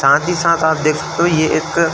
साथ ही साथ आप देख तो ये एक --